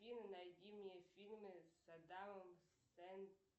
найди мне фильмы с адамом